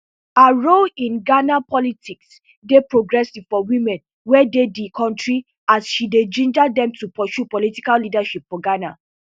her role in ghana politics dey progressive for women wey dey di kontri as she dey ginger dem to pursue political leadership for ghana